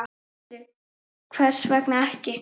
Sindri: Hvers vegna ekki?